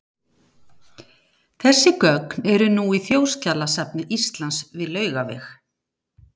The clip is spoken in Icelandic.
Þessi gögn eru nú í Þjóðskjalasafni Íslands við Laugaveg.